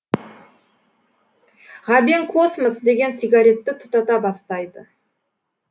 ғабең космос деген сигаретті тұтата бастайды